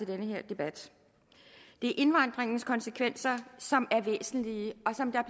den her debat det er indvandringens konsekvenser som er væsentlige og som der